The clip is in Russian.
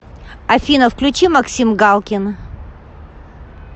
афина включи максим галкин